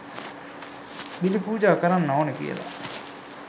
බිලි පූජා කරන්න ඕන කියලා